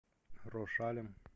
рошалем